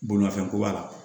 Bolimafɛn ko b'a la